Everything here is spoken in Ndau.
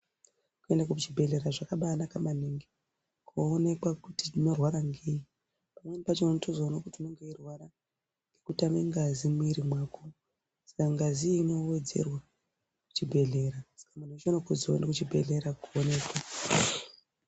Kuende kuchibhedhlera zvakabaanaka maningi koonekwa kuti unorwara ngei pamweni pacho unotozoone kuti unenge weirwara ngekutame ngazi mumwiri mwako saka ngazi iyi inowedzerwa kuchibhedhlera saka muntu weshe unokurudzirwa kuende kuchibhedhlera koonekwa.